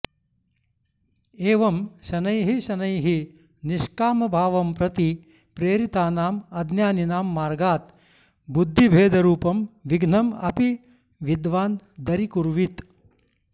एवं शनैः शनैः निष्कामभावं प्रति प्रेरितानाम् अज्ञानिनां मार्गात् बुद्धिभेदरूपं विघ्नम् अपि विद्वान् दरीकुर्वीत